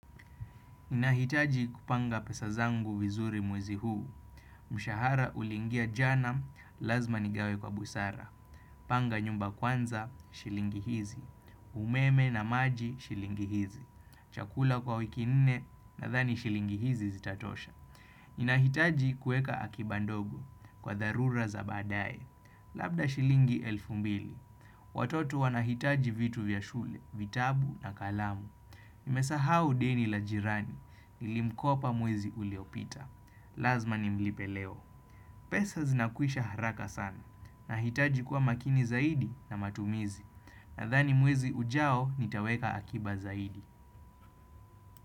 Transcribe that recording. Nahitaji kupanga pesazangu vizuri mwezi huu, mshahara uliingia jana lazima nigawe kwa busara, panga nyumba kwanza shilingi hizi, umeme na maji shilingi hizi, chakula kwa wiki nne na thani shilingi hizi zitatosha. Ninahitaji kueka akiba ndogo kwa dharura za baadae. Labda shilingi elfu mbili. Watoto wanahitaji vitu vya shule, vitabu na kalamu. Nimesahau deni la jirani nilimkopa mwezi uliopita. Lazma nimlipe leo. Pesa zinakwisha haraka sana. Nahitaji kuwa makini zaidi na matumizi. Nathani mwezi ujao nitaweka akiba zaidi.